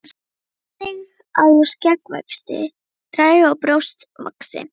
Einnig að úr skeggvexti dragi og brjóst vaxi.